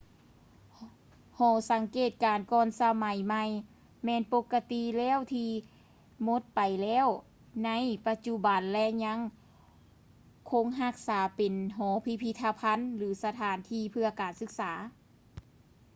ຫໍສັງເກດການກ່ອນສະໄໝໃໝ່ແມ່ນປົກກະຕິແລ້ວທີ່ໝົດໄປແລ້ວໃນປະຈຸບັນ ແລະ ຍັງຄົງຮັກສາເປັນຫໍພິພິທະພັນ ຫຼື ສະຖານທີ່ເພື່ອການສຶກສາ